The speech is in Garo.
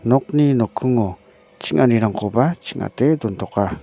nokni nokkingo ching·anirangkoba ching·ate dontoka.